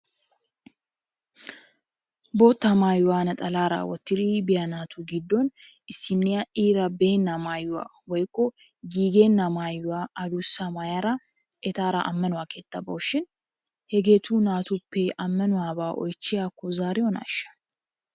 Bootta maayuwaa naxalaara wottidi biya naatu giddon issinniya iira beenna maayuwa woyikko giigenna maayuwaa adussa maayada etaara ammanuwaa keettaa bawusushin hegeetu natuppe ammanuwabaa oychiyakko zaariyonaasha?